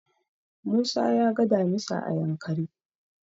Musa ya ga damisa a Yankari.